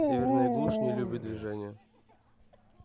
северная глушь не любит движения